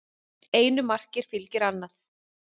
Einu marki fylgir annað